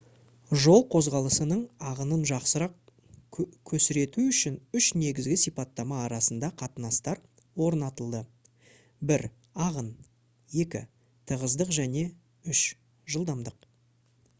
жол қозғалысының ағынын жақсырақ көсрету үшін үш негізгі сипаттама арасында қатынастар орнатылды: 1 ағын 2 тығыздық және 3 жылдамдық